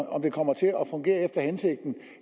om kommer til at fungere efter hensigten